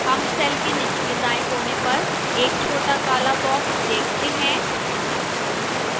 हम cell के निचले दाएं कोने पर एक छोटा काला box देखते हैं